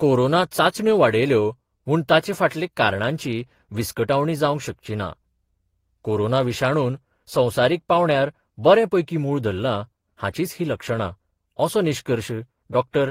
Corona चाचण्यो वाडयल्यो म्हूण ताचे फाटले कारणांची विस्कटावणी जावंक शकचीना कोरोना विशाणून संवसारीक पांवड्यार बरे पैकीं मूळ धरलां, हाचींच ही लक्षणां, असो निश्कर्श डॉ.